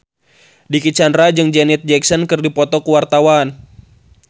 Dicky Chandra jeung Janet Jackson keur dipoto ku wartawan